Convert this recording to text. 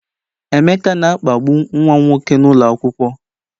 Emeka na-akpagbu nwa m nwoke n'ụlọ akwụkwọ